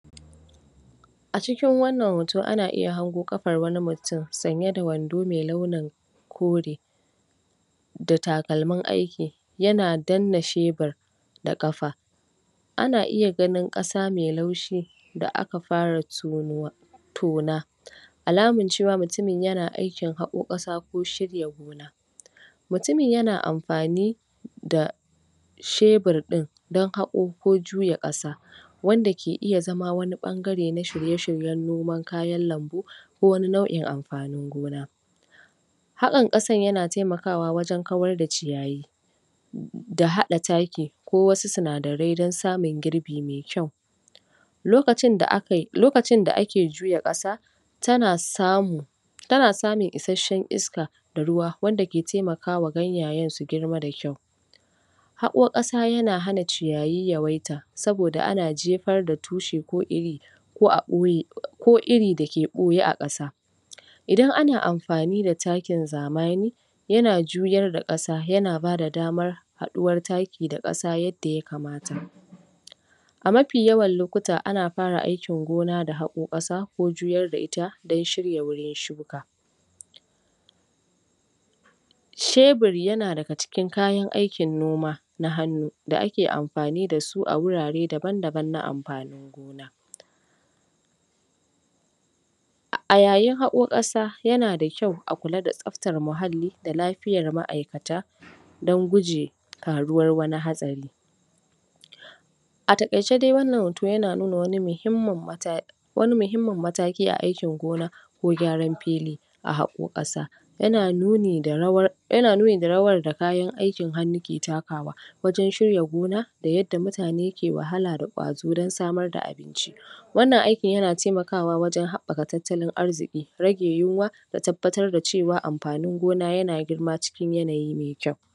A cikin wannan hoto ana iya hango ƙafar wani mutum sanye da wando mai launin kore da takalmin aiki yana danna shebur da kafa Ana iya ganin ƙasa mai laushi da aka fara tonowa, tona alaman cewa mutumin yana aikin tono ƙasa. mutumin yana amfani da hebur din don haƙo ko juya ƙasa wanda na iya zama wani bangare na shirye shiryen noman kayan lambu ko wani nauʼin amfanin gona. hakan yana taimakawa wajen kawar da ciyayi da haɗa taki ko wassu sinadarai dan samun girbi mai kyau. lokacin da ake juya kasa tana samu ana samun isasshen iska da ruwa wadda ke taimakawa ganyayen su girma da kyau. Haƙo ƙasa yana hana ciyayi yawaita saboda ana jefar da tushe ko iri ko irin da ɓoye a ƙasa. Idan ana amfani da takin zamani yana juyar da ƙasa yana bayar da daman haɗuwar taki da ƙasa yadda ya kamata. A mafi yawan lokuta ana fara aikin gona da haƙo ƙasa ko juyar da ita dan shirin shuka. Shebur yana daga cikin kayan aikin noma na hannu da ake amfani da su a wurare daban daban na amfanin A yayin haƙo ƙasa yana da kyau a kula da tsaftan muhalli da lafiyar maʼaikata dan gujewa faruwar wani haɗari. A takaice dai, wannan hoto yana nuna wani muhimmin mataki a aikin gona ko gyaran fili a haƙo ƙasa ana nuni da rawar da kayan aikin hannu ke takawa wajen shirya gona da yadda mutane ke wahala da ƙwazo wajen samar da abinci, wannan yana taimakawa wajen haɓaka tattalin arziki rage yunwa da tabbatar da cewa amfanin gona na girma cikin yanayi mai kyau.